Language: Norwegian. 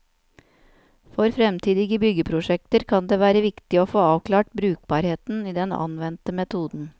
For fremtidige byggeprosjekter kan det være viktig å få avklart brukbarheten i den anvendte metoden.